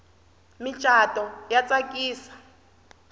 micato ya tsakisa